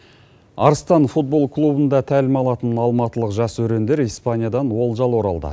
арыстан футбол клубында тәлім алатын алматылық жас өрендер испаниядан олжалы оралды